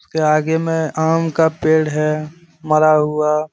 उसके आगे में आम का पेड़ है मरा हुआ।